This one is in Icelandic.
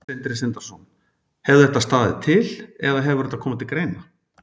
Sindri Sindrason: Hefur þetta staðið til eða hefur þetta komið til greina?